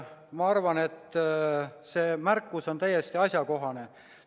Ma arvan, et see märkus on täiesti asjakohane.